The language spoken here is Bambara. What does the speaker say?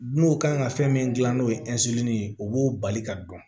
N'o kan ka fɛn min gilan n'o ye ye o b'o bali ka dɔn